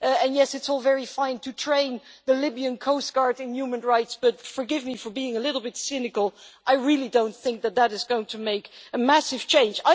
And yes, it is all very fine to train the Libyan coast guard in human rights, but forgive me for being a little bit cynical I really do not think that is going to make a massive change.